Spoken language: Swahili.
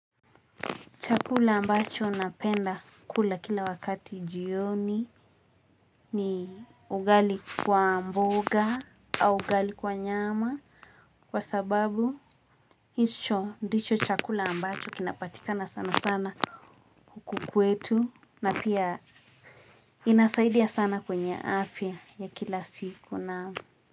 Chakula ambacho napenda kula kila wakati jioni ni ugali kwa mboga au ugali kwa nyama kwa sababu hicho ndicho chakula ambacho kinapatikana sana sana huku kwetu na pia inasaidia sana kwenye afya ya kila siku naam.